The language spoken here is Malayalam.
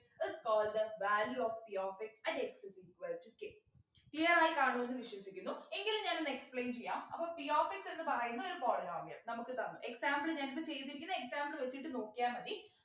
is called the value of p of x at x is equal to k clear ആയിക്കാണും ന്നു വിശ്വസിക്കുന്നു എങ്കിലും ഞാനൊന്നു explain ചെയ്യാം അപ്പൊ p of x എന്ന് പറയുന്ന ഒരു polynomial നമുക് തന്നു example ഞാനിപ്പോ ചെയ്തിരിക്കുന്ന example വെച്ചിട്ടു നോക്കിയാ മതി